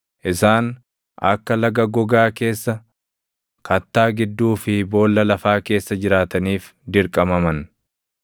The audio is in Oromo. Isaan akka laga gogaa keessa, kattaa gidduu fi boolla lafaa keessa jiraataniif dirqamaman.